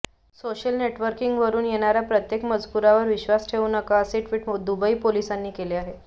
social नेटवर्किंगवरुन येणाऱ्या प्रत्येक मजकुरावर विश्वास ठेऊ नका असे ट्विट दुबई पोलिसांनी केले आहे